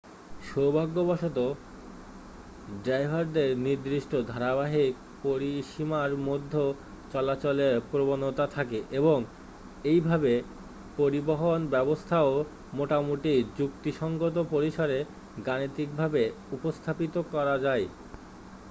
সৌভাগ্যবশত ড্রাইভারদের নির্দিষ্ট ধারাবাহিক পরিসীমার মধ্যে চলাচলের প্রবণতা থাকে এবং এইভাবে পরিবহন ব্যবস্থাও মোটামুটি যুক্তিসঙ্গত পরিসরে গাণিতিকভাবে উপস্থাপিত করা যায়